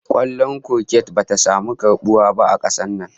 Kwallon kurket bata samu wani karbuwa ba a kasar nan